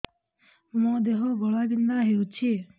ମୋ ଦେହ ଘୋଳାବିନ୍ଧା ହେଉଛି